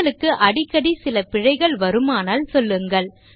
உங்களுக்கு அடிக்கடி சில பிழைகள் வருமானால் சொல்லுங்கள்